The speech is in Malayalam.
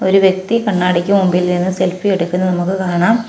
ഒരു വ്യക്തി കണ്ണാടിക്ക് മുമ്പിലിരുന്ന് സെൽഫി എടുക്കുന്നത് നമുക്ക് കാണാം.